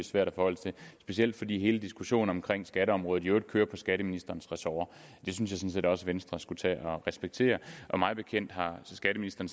svært at forholde sig til specielt fordi hele diskussionen omkring skatteområdet i øvrigt kører på skatteministerens ressort og det synes jeg sådan set også venstre skulle tage at respektere mig bekendt har skatteministeren